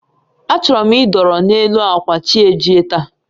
A chọrọ m idọrọ n'elu akwa chi ejie taa